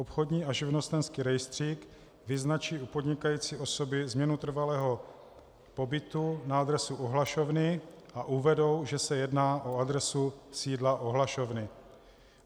Obchodní a živnostenský rejstřík vyznačí u podnikající osoby změnu trvalého pobytu na adresu ohlašovny a uvedou, že se jedná o adresu sídla ohlašovny."